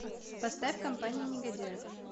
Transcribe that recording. поставь компания негодяев